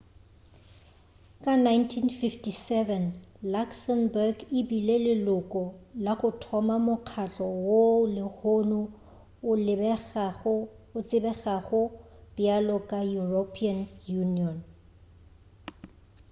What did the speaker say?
ka 1957 luxembourg e bile leloko la go thoma mokgatlo woo lehono o tsebegago bjalo ka european union